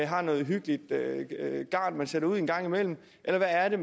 har noget hyggeligt garn man sætter ud en gang imellem eller hvad er det